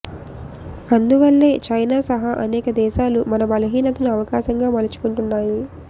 అందువల్లే చైనా సహా అనేక దేశాలు మన బలహీనతను అవకాశంగా మలచుకుంటున్నాయి